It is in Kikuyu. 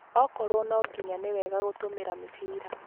Okorwo no nginya nĩ wega kũtũmĩra mĩbira